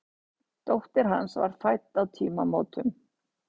Dóttir hans var fædd á tímamótum.